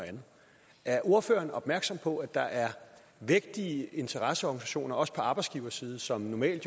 er ordføreren opmærksom på at der er vægtige interesseorganisationer også på arbejdsgiverside som jo normalt